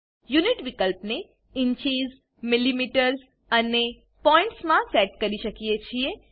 unit વિકલ્પને inches millimetre અને points મા સેટ કરી શકીએ છીએ